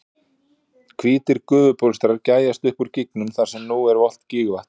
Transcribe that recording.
Hvítir gufubólstrar gægjast upp úr gígnum þar sem nú er volgt gígvatn.